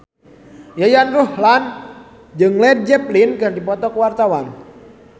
Yayan Ruhlan jeung Led Zeppelin keur dipoto ku wartawan